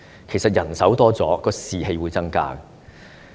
其實，增加醫護人手，便可增加士氣。